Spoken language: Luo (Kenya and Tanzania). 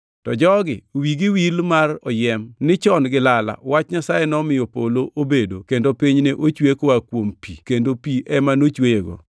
To jogi wigi wil mar oyiem ni chon gi lala wach Nyasaye nomiyo polo obedo kendo piny ne ochwe koa kuom pi kendo pi ema nochweyego.